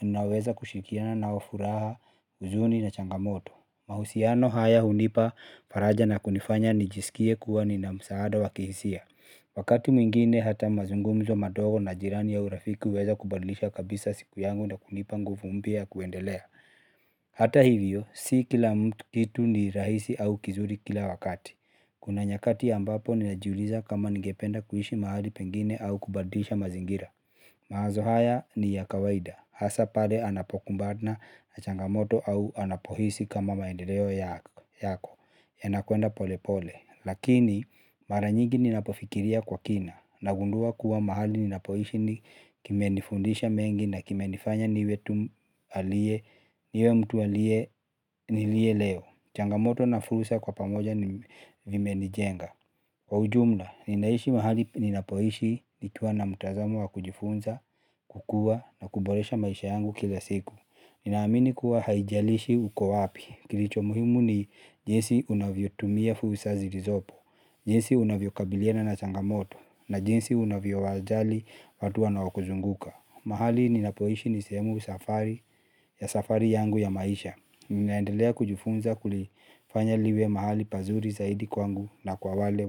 ninaweza kushirikiana nao furaha huzuni na changamoto mahusiano haya hunipa faraja na kunifanya nijisikie kuwa nina msaada wa kihisia wakati mwingine hata mazungumzo madogo na jirani au urafiki huweza kubadlisha kabisa siku yangu na kunipa nguvu mpya ya kuendelea. Hata hivyo, si kila kitu ni rahisi au kizuri kila wakati kuna nyakati ambapo ninajiuliza kama ningependa kuishi mahali pengine au kubadilisha mazingira. Mawazo haya ni ya kawaida hasa pale anapokumbana na changamoto au anapohisi kama maendeleo yako yanakwenda polepole lakini mara nyigi ninapofikiria kwa kina nagundua kuwa mahali ninapohishi kimenifundisha mengi na kimenifanya niwe mtu aliye niliye leo changamoto na fursa kwa pamoja vimenijenga. Kwa ujumla, ninaishi mahali ninapoishi nikiwa na mtazamo wa kujifunza, kukua na kuboresha maisha yangu kila siku. Ninaamini kuwa haijalishi uko wapi. Kilicho muhimu ni jinsi unavyotumia fursa zilizopo, jinsi unavyokabiliana na changamoto, na jinsi unavyowajali watu wanaokuzunguka. Mahali ninapoishi ni sehemu safari ya safari yangu ya maisha. Ninaendelea kujifunza kulifanya liwe mahali pazuri zaidi kwangu na kwa wale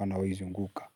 wanaoizunguka.